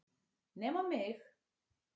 Nema mig!